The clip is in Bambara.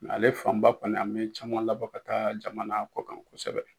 Ale fanba kɔni an be caman labɔ ka taa jamana kɔ kan kosɛbɛ